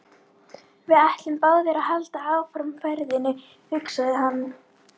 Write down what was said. Við ættum báðir að halda áfram ferðinni, hugsaði hann.